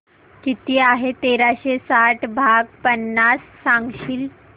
किती आहे तेराशे साठ भाग पन्नास सांगशील